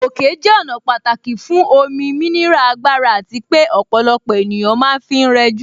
Òkè jẹ́ ọ̀nà pàtàkì fún omi, mineral, agbára àti pé ọ̀pọ̀lọpọ̀ ènìyàn ma ń fi rẹjú.